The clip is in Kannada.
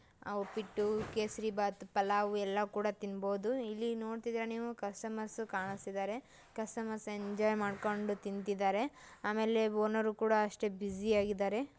ಆ ಉಪ್ಪಿಟ್ಟು ಕೇಸರಿಬಾತು ಪಲಾವು ಎಲ್ಲ ಕೂಡ ತಿಂಬಹುದು ಇಲ್ಲಿ ನೋಡ್ತಿದ್ರೆ ಕಸ್ಟಮರ್ಸ್ ನೀವು ಕಾಣಸ್ತಿದಾರೆ ಕಸ್ಟಮರ್ಸ್ ಎಂಜಾಯ್ ಮಾಡ್ಕೊಂಡು ತಿಂತಿದ್ದಾರೆ ಆಮೇಲೆ ಓನರ್ ಕೂಡ ಅಷ್ಟೇ ಬ್ಯುಸಿ ಆಗಿದ್ದಾರೆ.